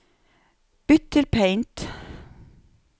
Bytt til Paint